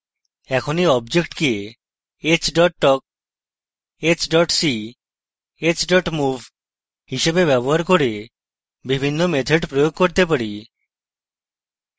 এখন এই object কে h talk ; h see ; h move হিসাবে ব্যবহার করে বিভিন্ন methods প্রয়োগ করতে পারি